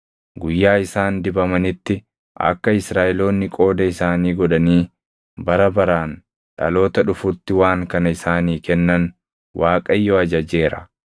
Guyyaa isaan dibamanitti, akka Israaʼeloonni qooda isaanii godhanii bara baraan dhaloota dhufutti waan kana isaanii kennan Waaqayyo ajajeera.